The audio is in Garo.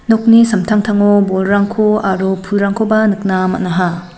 nokni samtangtango bolrangko aro pulrangkoba nikna man·aha.